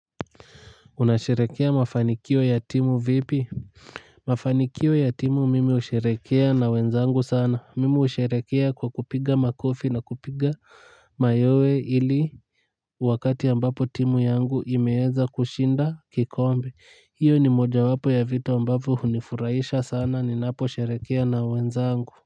Unasherekea mafanikio ya timu vipi. Mafanikio ya timu mimi husherekea na wenzangu sana mimi husherekea kwa kupiga makofi na kupiga mayowe ili wakati ambapo timu yangu imeweza kushinda kikombe hiyo ni mojawapo ya vitu ambavyo hunifuraisha sana ninaposherekea na wenzangu.